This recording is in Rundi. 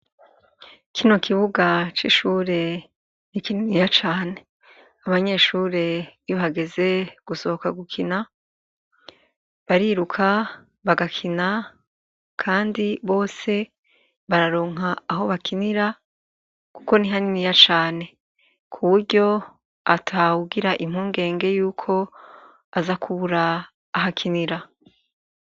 Kino kibuga c'ishure n'ikininiya cane abanyeshure iyo hageze gusohoka gukina bariruka bagakina, kandi bose bararonka aho bakinira, kuko ni haniniya cane ku buryo atawugira impungenge yuko azakubura ahakinira.